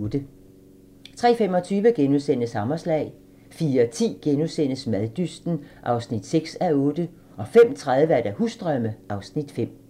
03:25: Hammerslag * 04:10: Maddysten (6:8)* 05:30: Husdrømme (Afs. 5)